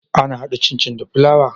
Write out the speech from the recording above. Ana hada cin cin da fulawa?